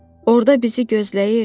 orada bizi gözləyir.